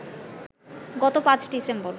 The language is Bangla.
গত ৫ ডিসেম্বর